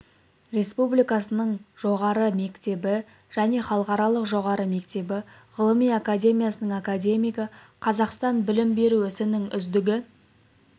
республикасының жоғары мектебі және халықаралық жоғары мектебі ғылыми академиясының академигі қазақстан білім беру ісінің үздігі